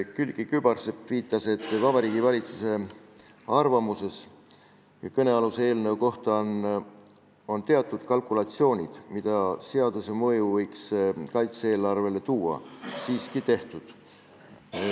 Külliki Kübarsepp viitas, et Vabariigi Valitsuse arvamuses kõnealuse eelnõu kohta on teatud kalkulatsioonid, milline võiks olla seaduse mõju kaitse-eelarvele, siiski tehtud.